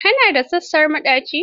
Ka na da sassaƙen maɗaci?